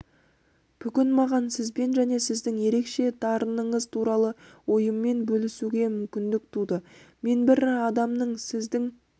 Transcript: бүгін маған сізбен және сіздің ерекше дарыныңыз туралы ойыммен бөлісуге мүмкіндік туды мен бір адамның сіздің